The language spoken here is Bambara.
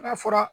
Ka fura